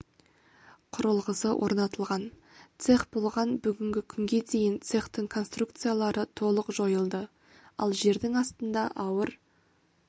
құрылғысы орнатылған цех болған бүгінгі күнге дейін цехтың конструкциялары толық жойылды ал жердің астында ауыр